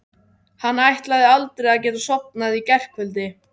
Hann ætlaði aldrei að geta sofnað í gærkvöldi.